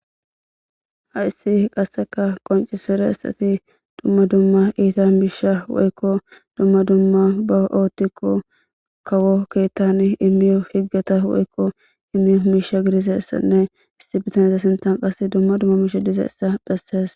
hayssi qasseka qoncisire istati dumma dumma iita miisha woykko dumma dumma baootikko kawo keettan imiyo higgata woykko imiyo hmisha gidizessanne issi bitanza sintan qas dumma dumma miisha dizeessa phessees